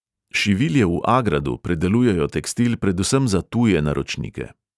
Šivilje v agradu predelujejo tekstil predvsem za tuje naročnike.